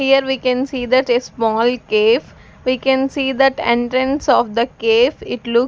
Here we can see that a small cafe we can see that entrance of the cafe it look--